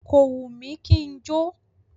Kò wù mí kí n jó.